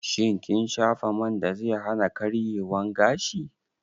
Shin kin shafa man da zai hana karyewan gashi?